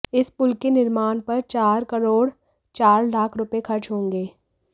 इस पुल के निर्माण पर चार करोड़ चार लाख रुपए खर्च होंगे